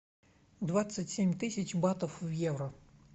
двадцать семь тысяч батов в евро